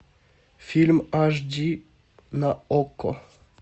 фильм аш ди на окко